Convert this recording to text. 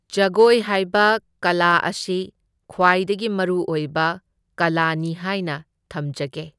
ꯖꯒꯣꯏ ꯍꯥꯏꯕ ꯀꯂꯥ ꯑꯁꯤ ꯈ꯭ꯋꯥꯏꯗꯒꯤ ꯃꯔꯨꯑꯣꯏꯕ ꯀꯂꯥꯅꯤ ꯍꯥꯏꯅ ꯊꯝꯖꯒꯦ꯫